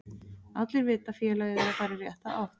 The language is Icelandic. Allir vita að félagið er að fara í rétta átt.